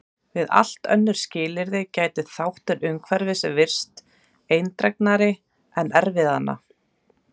Við allt önnur skilyrði gæti þáttur umhverfis virst eindregnari en erfðanna.